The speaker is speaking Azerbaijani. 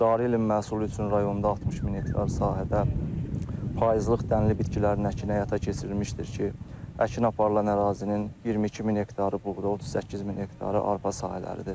Cari ilin məhsulu üçün rayonda 60 min hektar sahədə payızlıq dənli bitkilərin əkini həyata keçirilmişdir ki, əkin aparılan ərazinin 22 min hektarı buğda, 38 min hektarı arpa sahələridir.